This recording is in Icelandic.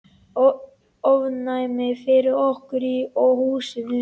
Ofnæmi fyrir okkur og húsinu!